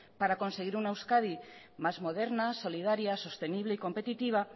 para conseguir una euskadi más moderna solidaria sostenible y competitiva